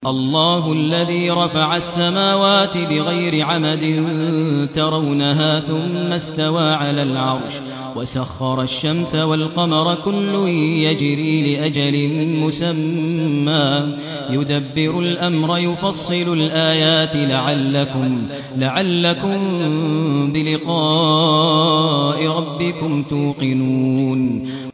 اللَّهُ الَّذِي رَفَعَ السَّمَاوَاتِ بِغَيْرِ عَمَدٍ تَرَوْنَهَا ۖ ثُمَّ اسْتَوَىٰ عَلَى الْعَرْشِ ۖ وَسَخَّرَ الشَّمْسَ وَالْقَمَرَ ۖ كُلٌّ يَجْرِي لِأَجَلٍ مُّسَمًّى ۚ يُدَبِّرُ الْأَمْرَ يُفَصِّلُ الْآيَاتِ لَعَلَّكُم بِلِقَاءِ رَبِّكُمْ تُوقِنُونَ